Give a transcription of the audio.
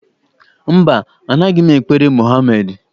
Mba, anaghị m ekpere Mohamedị.